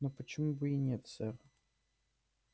но почему бы и нет сэр